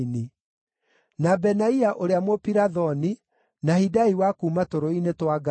na Benaia ũrĩa Mũpirathoni, na Hidai wa kuuma tũrũũĩ-inĩ twa Gaashu,